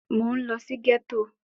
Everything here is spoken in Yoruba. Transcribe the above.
Mo ń lọ sí gẹ́tò